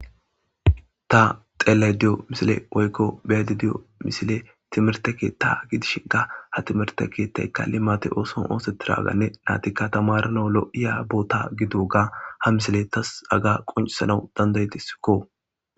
ta xelay diyo misile oykko beyadi diyo misile timirte keeta gidish ga ha timirte keettay kalli maate ooson ooseti raaganne naatikka tamarana lo7iya boota gido ga ha misile tas aga qoncisanau dandayetisikko